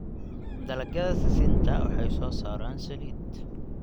Dalagyada sisinta waxay soo saaraan saliid.